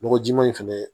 Nɔgɔ jɛma in fɛnɛ